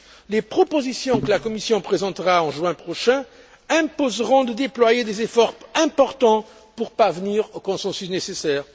Les propositions que la Commission présentera en juin prochain imposeront de déployer des efforts importants pour parvenir au consensus nécessaire.